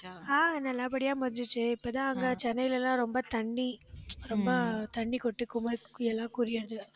ஆஹ் நல்லபடியா முடிஞ்சுச்சு இப்பதான் அங்க சென்னையில எல்லாம் ரொம்ப தண்ணி ரொம்ப தண்ணி